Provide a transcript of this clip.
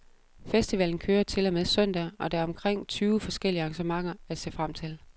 Festivalen kører til og med søndag, og der er omkring tyve forskellige arrangementer at se frem til.